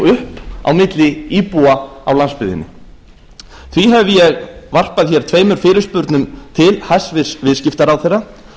upp á milli íbúa á landsbyggðinni því hef ég varpað tveimur fyrirspurnum til hæstvirtur viðskiptaráðherra